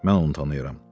Mən onu tanıyıram.